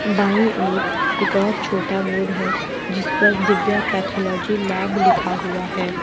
बाईं ओर एक और छोटा बोर्ड है जिस पर दिव्या पैथोलॉजी लैब लिखा हुआ है।